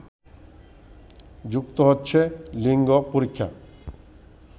যুক্ত হচ্ছে লিঙ্গ পরীক্ষা